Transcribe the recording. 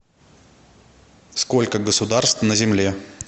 сколько государств на земле